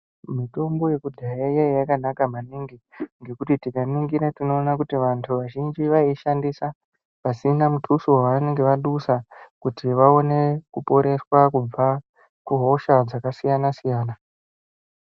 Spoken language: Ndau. Mitombo yekudhaya yaiya yakanaka maningi, ngekuti tikaningira tinoona kuti vantu vazhinji vaiishandisa pasina muthuso wavanenge vadusa, kuti vaone kuporeswa kubva kuhosha dzakasiyana-siyana